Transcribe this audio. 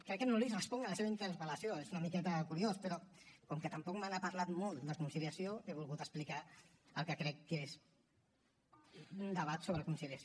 crec que no li responc a la seva interpel·lació és una miqueta curiós però com que tampoc me n’ha parlat molt de conciliació he volgut explicar el que crec que és un debat sobre conciliació